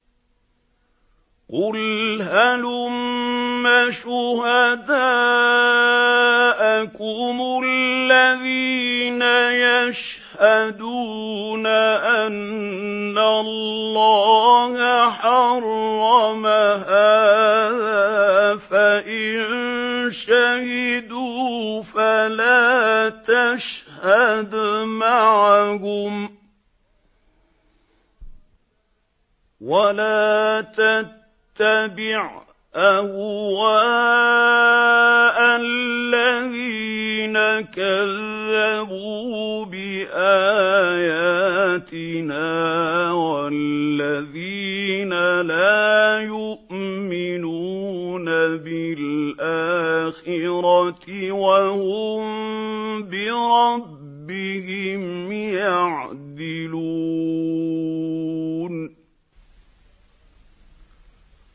قُلْ هَلُمَّ شُهَدَاءَكُمُ الَّذِينَ يَشْهَدُونَ أَنَّ اللَّهَ حَرَّمَ هَٰذَا ۖ فَإِن شَهِدُوا فَلَا تَشْهَدْ مَعَهُمْ ۚ وَلَا تَتَّبِعْ أَهْوَاءَ الَّذِينَ كَذَّبُوا بِآيَاتِنَا وَالَّذِينَ لَا يُؤْمِنُونَ بِالْآخِرَةِ وَهُم بِرَبِّهِمْ يَعْدِلُونَ